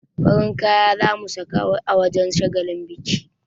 Farin kaya za mu saka a wajen shagalin bikin.